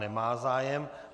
Nemá zájem.